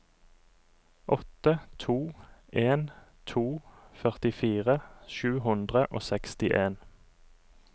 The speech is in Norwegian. åtte to en to førtifire sju hundre og sekstien